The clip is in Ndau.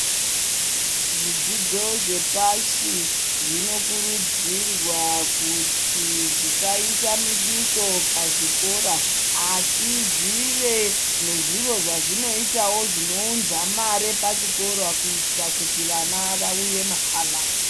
Zvidzidzo zve pashi zvino kurudzirwa kuti zvisa isa muduso pa zvikora asi zvive nezviro zvazvino itawo zvino unza mare pa chikora kuitira kuti vana vauye mahala.